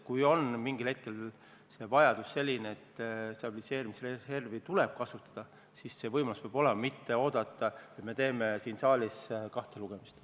Kui mingil hetkel on olukord selline, et stabiliseerimisreservi tuleb kasutada, siis see võimalus peab kohe olemas olema, mitte jääda ootama, et teeme siin saalis kaks lugemist.